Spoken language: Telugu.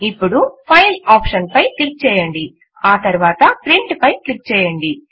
ఇప్పుడు ఫైల్ ఆప్షన్ పై క్లిక్ చేయండి ఆ తరువాత ప్రింట్ పై క్లిక్ చేయండి